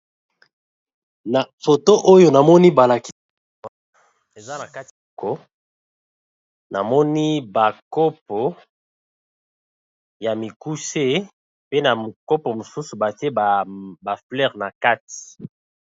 Na foto oyo na moni ba lakisi eza na kati ya ndako na moni ba kopo ya mikuse pe na kopo mosusu batie ba fleure na kati.